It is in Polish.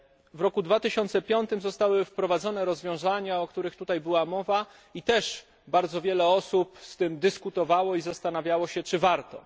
W roku 2005 zostały wprowadzone rozwiązania, o których była tutaj mowa i też bardzo wiele osób z tym dyskutowało i zastanawiało się, czy warto.